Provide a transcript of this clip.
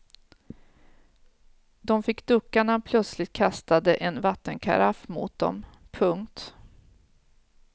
De fick ducka när han plötsligt kastade en vattenkaraff mot dem. punkt